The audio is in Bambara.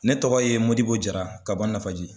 Ne tɔgɔ ye Modibo Jara ka bɔ Nafaji.